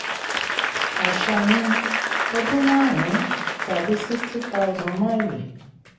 àṣà ni: ọdún márùn-ún tàbí sixty thousand máìlì.